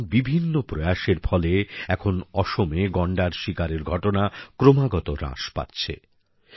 এমন বিভিন্ন প্রয়াসের ফলে এখন অসমে গন্ডার শিকারের ঘটনা ক্রমাগত হ্রাস পাচ্ছে